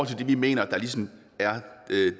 til det vi mener ligesom er